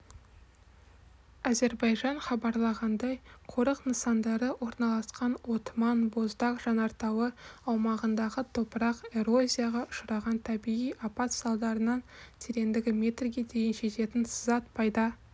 әзербайжан хабарлағандай қорық нысандары орналасқан отман боздаг жанартауы аумағындағы топырақ эрозияға ұшыраған табиғи апат салдарынан тереңдігі метрге дейін жететін сызат пайда